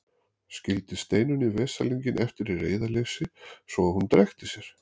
Skildi Steinunni veslinginn eftir í reiðileysi svo að hún drekkti sér.